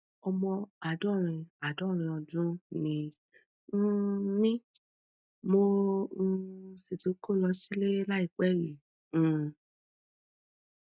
omo àádọrin àádọrin ọdún ni um mí mo um sì ti kó lọ sílé láìpẹ yìí um